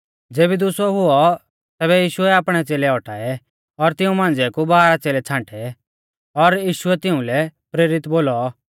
ज़ेबी दुसौ हुऔ तैबै यीशुऐ आपणै च़ेलै औटाऐ और तिऊं मांझ़िऐ कु बाराह च़ेलै छ़ांटै और यीशुऐ तिउंलै प्रेरित बोलौ